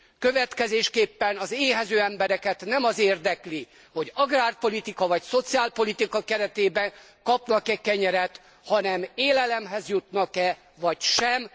Következésképpen az éhező embereket nem az érdekli, hogy agrárpolitika vagy szociálpolitika keretében kapnak e kenyeret, hanem hogy élelemhez jutnak e vagy sem.